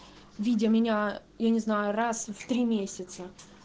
видя меня я не знаю раз в три месяца